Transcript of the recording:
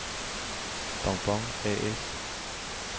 Bon-Bon A/S